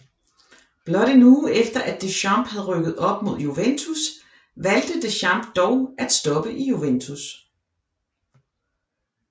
Blot en uge efter at Deschamps havde rykket op med Juventus valgte Deschamps dog at stoppe i Juventus